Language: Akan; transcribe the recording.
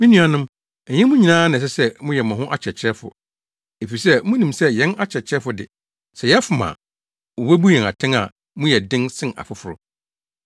Me nuanom, ɛnyɛ mo nyinaa na ɛsɛ sɛ moyɛ mo ho akyerɛkyerɛfo, efisɛ munim sɛ yɛn akyerɛkyerɛfo de, sɛ yɛfom a, wobebu yɛn atɛn a mu yɛ den sen afoforo.